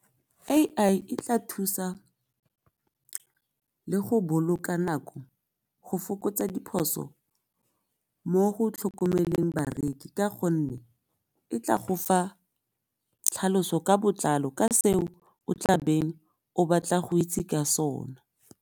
A_I e tla thusa le go boloka nako go fokotsa diphoso mo go tlhokomeleng bareki ka gonne e tla go fa tlhaloso ka botlalo ka seo o tla beng o batla go itse ka sona.